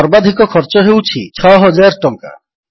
ସର୍ବାଧିକ ଖର୍ଚ୍ଚ ହେଉଛି 6000 ଟଙ୍କା